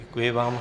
Děkuji vám.